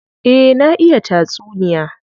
Eh, na iya tatsuniya.